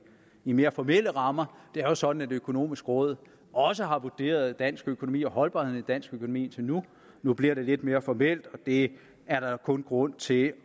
i mere formelle rammer det er jo sådan at det økonomiske råd også har vurderet dansk økonomi og holdbarheden i dansk økonomi indtil nu nu bliver det lidt mere formelt og det er der kun grund til at